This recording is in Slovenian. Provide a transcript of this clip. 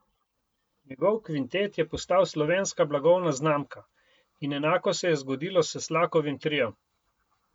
Njegov kvintet je postal slovenska blagovna znamka in enako se je zgodilo s Slakovim triom.